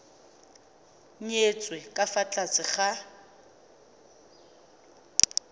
nyetswe ka fa tlase ga